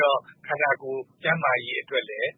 တော့ ခန္တာကိုယ် ကျန်းမာရေးအတွက်လည်း